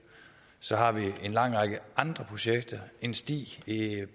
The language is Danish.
så har vi en lang række andre projekter en sti